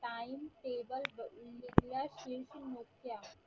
time table बघून घेतल्यास वीरसिंग मोठे आहे